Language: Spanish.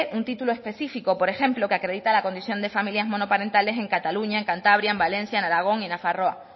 un título específico por ejemplo que acredita la condición de familias monoparentales en cataluña en cantabria en valencia en aragón y en nafarroa